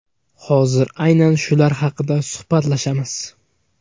Hozir aynan shular haqida suhbatlashamiz.